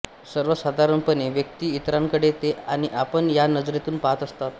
सर्वसाधारणपणे व्यक्ती इतरांकडे ते आणि आपण या नजरेतून पाहत असतात